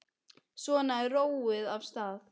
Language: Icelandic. Svo er róið af stað.